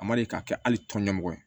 A ma deli ka kɛ hali tɔn ɲɛmɔgɔ ye